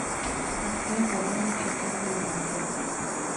открой погоня четырка на окко